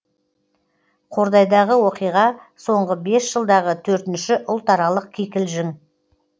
қордайдағы оқиға соңғы бес жылдағы төртінші ұлтаралық кикілжің